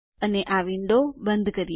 અને આ વિંડો બંધ કરો